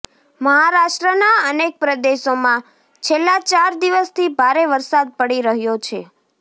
મહારાષ્ટ્રના અનેક પ્રદેશોમાં છેલ્લા ચાર દિવસથી ભારે વરસાદ પડી રહ્યો છે